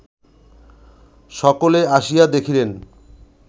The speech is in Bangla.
সকলে আসিয়া দেখিলেন